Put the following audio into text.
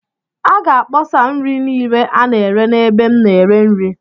A ga-akpọsa nri niile a na-ere n'ebe m na-ere nri..